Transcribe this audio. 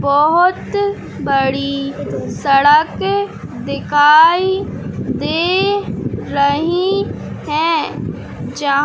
बहुत बड़ी सड़क दिखाई दे रही है। जह--